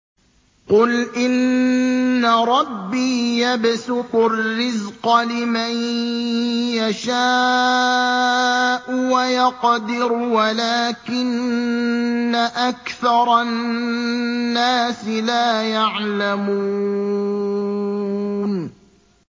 قُلْ إِنَّ رَبِّي يَبْسُطُ الرِّزْقَ لِمَن يَشَاءُ وَيَقْدِرُ وَلَٰكِنَّ أَكْثَرَ النَّاسِ لَا يَعْلَمُونَ